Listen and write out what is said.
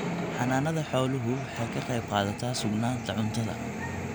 Xanaanada xooluhu waxay ka qayb qaadataa sugnaanta cuntada.